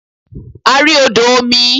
A rí odò omi.